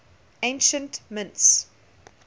ancient mints